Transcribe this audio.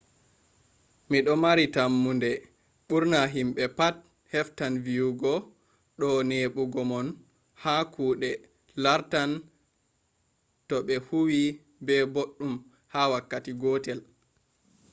mi do maari tammonde bur’na himbe pat heftan viyugo do nebugo mon ha kude lartan to be huwi be baddum ha wakkati gotel